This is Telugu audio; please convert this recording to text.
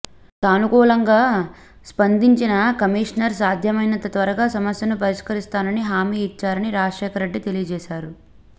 సాను కూలంగా స్పందించిన కమిషనర్ సాధ్యమైనంత త్వరగా సమస్యను పరిష్కరిస్తానని హామీ ఇచ్చారని రాజశేఖర్రెడ్డి తెలియజేశారు